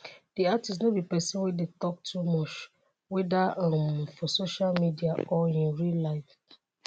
di artist no be pesin wey dey tok too much - weda um for social media or in real life.